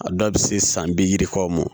A dɔw bɛ se san bi yirikaw mɔ